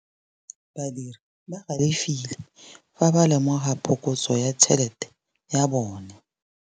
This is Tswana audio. Badiri ba galefile fa ba lemoga phokotsô ya tšhelête ya bone.